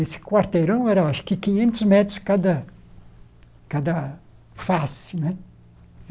Esse quarteirão era, acho que, quinhentos metros cada cada face né.